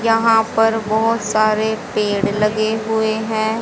यहां पर बहोत सारे पेड़ लगे हुए हैं।